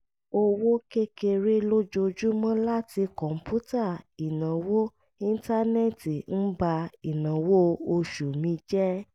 owó kékeré lójoojúmọ́ látí kọ̀ǹpútà ìnáwó íńtánẹ́ẹ̀tì ń ba ìnáwó oṣù mi jẹ